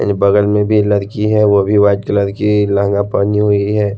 यानी बगल में भी एक लड़की है वो भी वाइट कलर की लहंगा पहनी हुई है।